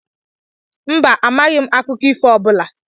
Mba, amaghị m akụkọ ifo ọ bụla.